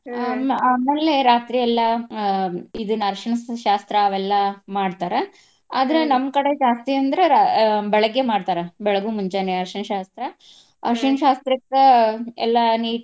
ಆ ಆಮೇಲೆ ರಾತ್ರಿ ಎಲ್ಲಾ ಆಹ್ ಇದನ್ನ ಅರ್ಶಿನದ ಶಾಸ್ತ್ರ ಅವೆಲ್ಲಾ ಮಾಡ್ತಾರ. ಆದ್ರ ನಮ್ಮ್ ಕಡೆ ಜಾಸ್ತಿ ಅಂದ್ರ ಆಹ್ ಬೆಳಗ್ಗೆ ಮಾಡ್ತಾರ. ಬೆಳಗು ಮುಂಜಾನೆ ಅರ್ಶಿನ ಶಾಸ್ತ್ರ. ಅರ್ಶಿನ ಶಾಸ್ತ್ರಕ್ಕ ಎಲ್ಲಾ.